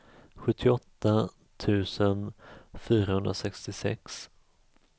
sjuttioåtta tusen fyrahundrasextiosex